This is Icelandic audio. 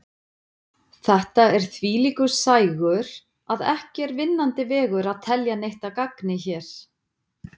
Þetta er þvílíkur sægur að ekki er vinnandi vegur að telja neitt að gagni hér.